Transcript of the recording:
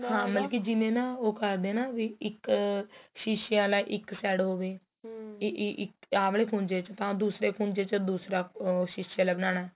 ਹਾਂ ਮਲਕੀ ਜਿਵੇਂ ਨਾ ਉਹ ਕਰਦੇ ਏ ਵੀ ਇੱਕ ਸ਼ੀਸ਼ੀਆ ਵਾਲਾਂ ਇੱਕ side ਹੋਵੇ ਆਹ ਵਾਲੇ ਖੁੰਜੇ ਤਾ ਦੂਸਰੇ ਖੁੰਜੇ ਤਾ ਦੂਸਰਾ ਸ਼ੀਸੇ ਵਾਲਾ ਬਣਾਉਣਾ